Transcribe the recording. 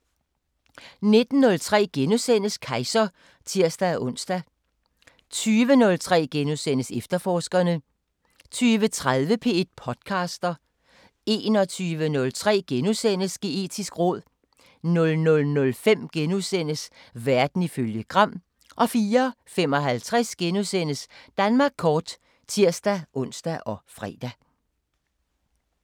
19:03: Kejser *(tir-ons) 20:03: Efterforskerne * 20:30: P1 podcaster 21:03: Geetisk råd * 00:05: Verden ifølge Gram * 04:55: Danmark kort *(tir-ons og fre)